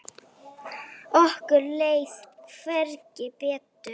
Okkur leið hvergi betur.